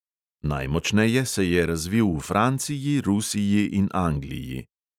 Najmočneje se je razvil v franciji, rusiji in angliji.